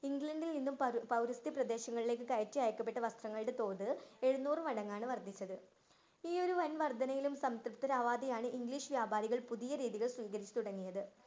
ഇംഗ്ലണ്ടില്‍ നിന്നും പൗര പൗരസ്ത്യ പ്രദേശങ്ങളിലേക്ക് കയറ്റി അയക്കപ്പെട്ട വസ്ത്രങ്ങളുടെ തോത് എഴുനൂറു മടങ്ങാണ് വര്‍ദ്ധിച്ചത്. ഈ ഒരു വന്‍ വര്‍ദ്ധനയിലും സംതൃപ്തരാവാതെയാണ് english വ്യാപാരികള്‍ പുതിയ രീതികള്‍ സ്വീകരിച്ചു തുടങ്ങിയത്.